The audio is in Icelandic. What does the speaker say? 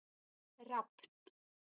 Rafn